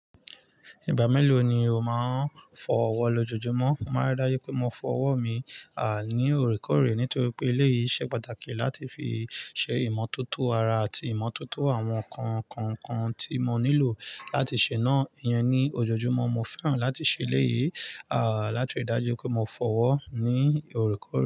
Ìgbà mélòó ni o máa ń fọ ọwọ́ lọjọjumọ? Mo máa rì dájú pé mo fọ ọwọ́ mi, ní òrékòré nítorí pé eléyìí ṣe pàtàkì láti fi ṣe ìmọ́tótó ara àti ìmọ́tótó àwọn nǹkan kan kan tí mo nílò láti ṣe náà. Ìyẹn ni, ojoojúmọ́ mo fẹ́ràn láti ṣe éleyìí, láti rì dájú pé mo fọ ọwọ́ ní òrékòré.